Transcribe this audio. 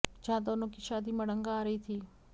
जहां दोनों की शादी में अड़ंगा आ रही थी